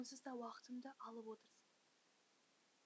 онсыз да уақытымды алып отырсың